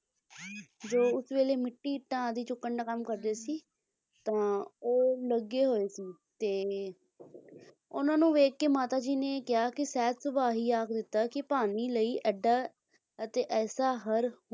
ਜੋ ਉਸ ਵੇਲੇ ਮਿੱਟੀ ਇੱਟਾਂ ਚੁੱਕਣ ਦਾ ਕੰਮ ਕਰਦੇ ਸੀ ਤਾਂ ਉਹ ਲੱਗੇ ਹੋਏ ਸੀ ਤੇ ਉਹਨਾਂ ਨੂੰ ਵੇਖਕੇ ਮਾਤਾ ਜੀ ਨੇ ਕਿਹਾ ਕੇ ਸਹਿਜ ਸੁਭਾਅ ਹੀ ਆਖ ਦਿੱਤਾ ਕੀ ਭਾਨੀ ਲਈ ਇੱਡਾ ਅਤੇ ਐਸਾ ਹਰ,